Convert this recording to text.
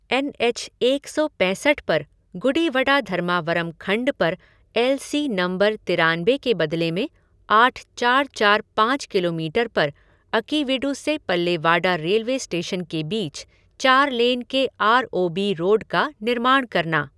N H एक सौ पैंसठ पर गुडीवडा धर्मावरम खंड पर एल सी नम्बर तिरानबे के बदले में आठ चार चार पाँच किलोमीटर पर अकीवीडु से पल्लेवाडा रेलवे स्टेशन के बीच चार लेन के आर ओ बी रोड का निर्माण करना।